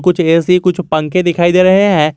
कुछ ए_सी कुछ पंखे दिखाई दे रहे हैं।